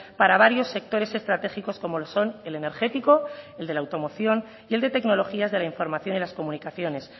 para varios sectores estratégicos como lo son el energético el de la automoción y el de tecnologías de la información y las comunicaciones